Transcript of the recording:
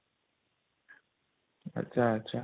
ଆଛା ଆଛା